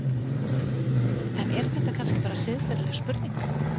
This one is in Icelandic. En er þetta kannski bara siðferðileg spurning?